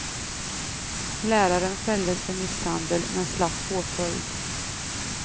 Läraren fälldes för misshandel, men slapp påföljd.